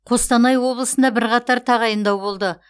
қостанай облысында бірқатар тағайындау болды